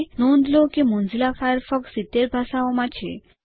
નોંધ લો કે મોઝિલા ફાયરફોક્સ 70 ભાષાઓ માં છે